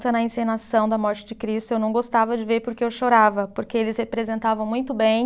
na encenação da morte de Cristo, eu não gostava de ver porque eu chorava, porque eles representavam muito bem.